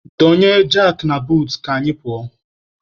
Donye jakị na buutu ka anyị pụọ.